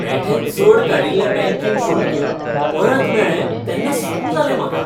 बेठेंच चड काडिल्लें बँकिंग शुल्क परत मेळ्ळें तेन्ना सू जालें म्हाका.